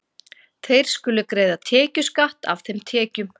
Þeir skulu greiða tekjuskatt af þeim tekjum.